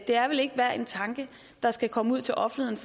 det er vel ikke hver en tanke der skal komme ud til offentligheden